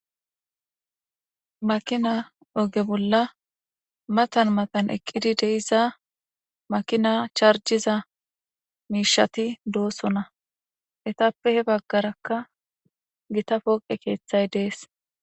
Makina oge bolla matan matan eqid de'iza makina charjiza mishati dosona ,etappe he bagaraka gita pooqe keethay des